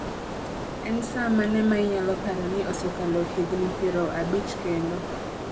En saa mane ma inyalo paro ni osekalo higni piero abich kendo